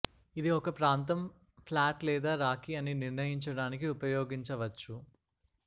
ఇది ఒక ప్రాంతం ఫ్లాట్ లేదా రాకీ అని నిర్ణయించడానికి ఉపయోగించవచ్చు